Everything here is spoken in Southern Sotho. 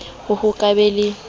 ho ho ka ba le